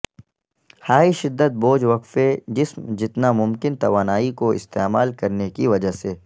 high شدت بوجھ وقفے جسم جتنا ممکن توانائی کو استعمال کرنے کی وجہ سے